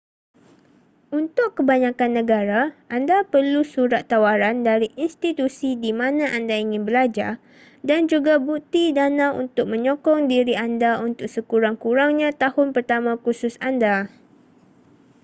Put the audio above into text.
untuk kebanyakan negara anda perlu surat tawaran dari institusi di mana anda ingin belajar dan juga bukti dana untuk menyokong diri anda untuk sekurang-kurangnya tahun pertama kursus anda